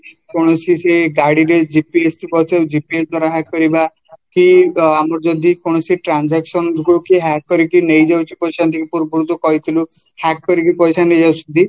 କୌଣସି ସେ ଗାଡ଼ିରେ GPS ଥିବ GPS ଦ୍ଵାରା hack କରିବା କି ଆମର ଯଦି କୌଣସି transaction ଗୁଡାକୁ hack କରିକି ନେଇଯାଉଛି ପୂର୍ବରୁ କହିଥିଲୁ hack କରିକି ନେଇଯାଉଛନ୍ତି